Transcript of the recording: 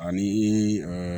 Ani i